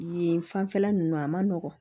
Yen fanfɛla nunnu a ma nɔgɔn